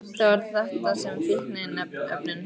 Það var þetta sem fíkniefnin löguðu.